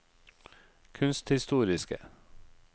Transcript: kunsthistoriske